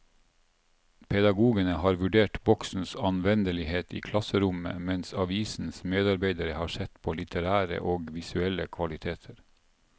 Pedagogene har vurdert bokens anvendelighet i klasserommet, mens avisens medarbeidere har sett på litterære og visuelle kvaliteter.